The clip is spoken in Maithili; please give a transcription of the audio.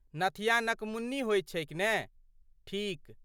नथिया नकमुन्नी होइत छैक ने, ठीक?